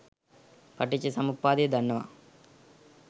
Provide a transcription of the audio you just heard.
පටිච්චසමුප්පාදය දන්නවා